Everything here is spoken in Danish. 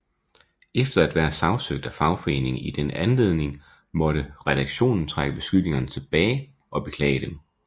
Efter at være sagsøgt af foreningen i den anledning måtte redaktionen trække beskyldningerne tilbage og beklage dem